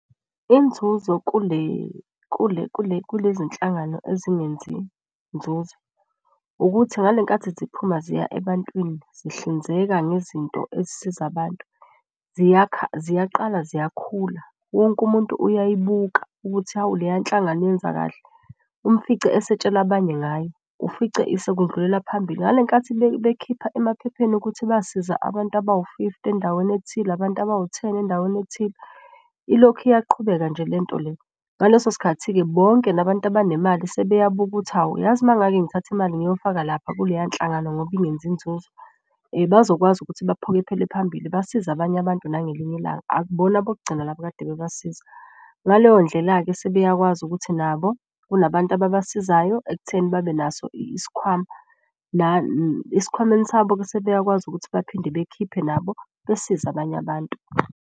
Inzuzo kulezi nhlangano ezingenzi nzuzo ukuthi ngale nkathi ziphuma ziya ebantwini, zihlinzeka ngezinto ezisiza abantu ziyaqala ziyakhula. Wonke umuntu uyayibuka ukuthi hawu leya nhlangano yenza kahle umfice esetshela abanye ngayo. Ufice sekundlulela phambili ngale nkathi bekhipha emaphepheni ukuthi basiza abantu abawu fifty endaweni ethile, abantu abawu-ten endaweni ethile. Ilokhu iyaqhubeka nje lento le ngaleso sikhathi-ke bonke labantu abanemali sebeyabuka ukuthi, hawu uyazi mangake ngithathe imali ngiyofaka lapha kuleyo nhlangano ngoba ingenzi inzuzo. Bazokwazi ukuthi baphokophele phambili basize abanye abantu nangelinye ilanga, akubona abokugcina labo ekade bebasiza. Ngaleyo ndlela-ke sebeyakwazi ukuthi nabo kunabantu ababasizayo ekutheni babenaso isikhwama . Esikhwameni sabo-ke sebeyakwazi ukuthi baphinde bekhiphe nabo besiza abanye abantu.